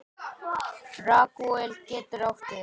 Ragúel getur átt við